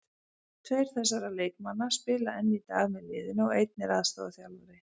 Tveir þessara leikmanna spila enn í dag með liðinu og einn er aðstoðarþjálfari.